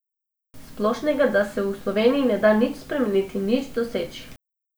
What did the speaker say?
Splošnega, da se v Sloveniji ne da nič spremeniti, nič doseči?